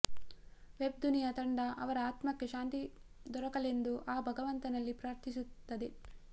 web ದುನಿಯಾ ತಂಡ ಅವರ ಆತ್ಮಕ್ಕೆ ಶಾಂತಿ ದೊರಕಲೆಂದು ಆ ಭಗವಂತನಲ್ಲಿ ಪ್ರಾರ್ಥಿಸುತ್ತದೆ